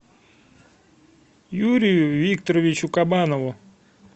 юрию викторовичу кабанову